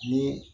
Ni